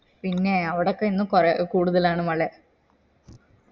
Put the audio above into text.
പിന്നെ അവിടൊക്കെ ഇന്ന് കോ കൂടുതലാണ് മലെ